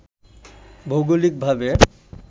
ভৌগোলিক ভাবে